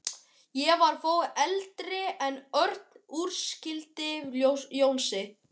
Ég var þó eldri en Örn útskýrði Jónsi.